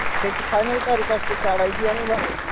काढायची आणि भरायची.